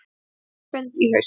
Vilja landsfund í haust